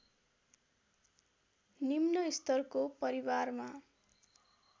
निम्न स्तरको परिवारमा